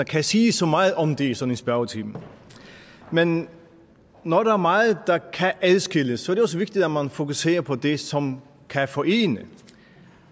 kan sige så meget om det i sådan en spørgetime men når der er meget der kan adskilles er det også vigtigt at man fokuserer på det som kan forene